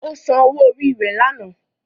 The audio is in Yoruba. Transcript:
Ó san owó orí rẹ̀ lánàá.